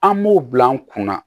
An m'o bila an kunna